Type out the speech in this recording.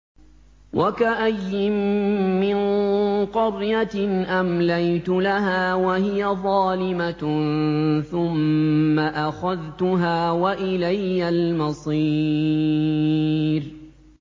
وَكَأَيِّن مِّن قَرْيَةٍ أَمْلَيْتُ لَهَا وَهِيَ ظَالِمَةٌ ثُمَّ أَخَذْتُهَا وَإِلَيَّ الْمَصِيرُ